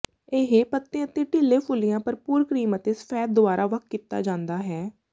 ਇਹ ਪੱਤੇ ਅਤੇ ਢਿੱਲੇ ਫੁੱਲੀਆਂ ਭਰਪੂਰ ਕ੍ਰੀਮ ਅਤੇ ਸਫੈਦ ਦੁਆਰਾ ਵੱਖ ਕੀਤਾ ਜਾਂਦਾ ਹੈ